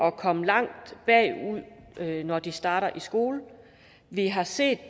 at komme langt bagud når de starter i skole vi har set